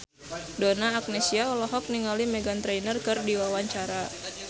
Donna Agnesia olohok ningali Meghan Trainor keur diwawancara